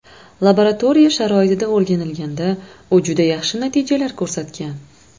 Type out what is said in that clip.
Laboratoriya sharoitida o‘rganilganda u juda yaxshi natijalar ko‘rsatgan.